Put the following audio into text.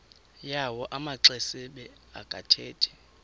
yawo amaxesibe akathethi